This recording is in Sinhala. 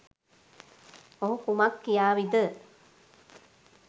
ඔහු කුමක් කියාවිද?